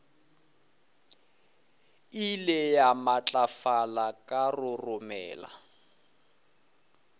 ile ya matlafala ka roromela